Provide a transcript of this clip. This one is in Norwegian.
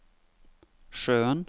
sjøen